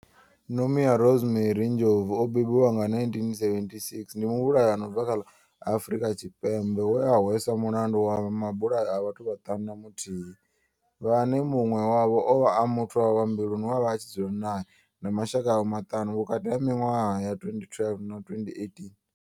Nomia Rosemary Ndlovu o bebiwaho nga, 1976 ndi muvhulahi a no bva kha ḽa Afurika Tshipembe we a hweswa mulandu wa mabulayo a vhathu vhaṱanu na muthihi vhane munwe wavho ovha a muthu wawe wa mbiluni we avha a tshi dzula nae na mashaka awe maṱanu vhukati ha minwaha ya 2012 na 2018.